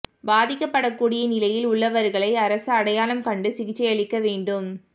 பாதிக்கப்படக்கூடிய நிலையில் உள்ளவர்களை அரசு அடையாளம் கண்டு சிகிச்சையளிக்க வேண்டும்